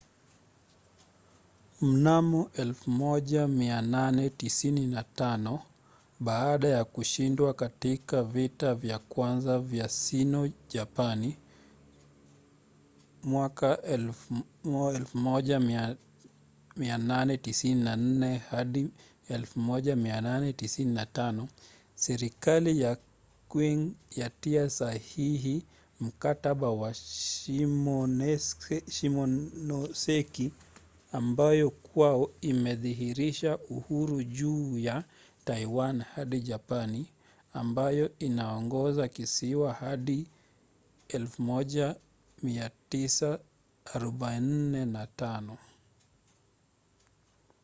mnamo 1895 baada ya kushindwa katika vita vya kwanza vya sino-japani 1894-1895 serikali ya qing yatia sahihi mkataba wa shimonoseki ambao kwao inadhihirisha uhuru juu ya taiwan hadi japani ambayo inaongoza kisiwa hadi 1945